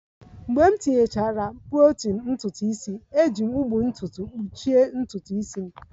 Mgbe m tinyechara protein ntutu isi, ejiri m ụgbụ ntutu kpuchie ntutu isi m